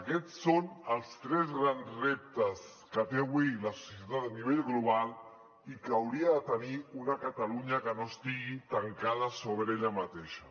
aquests són els tres grans reptes que té avui la societat a nivell global i que hauria de tenir una catalunya que no estigui tancada sobre ella mateixa